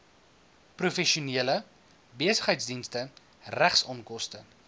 professionele besigheidsdienste regsonkoste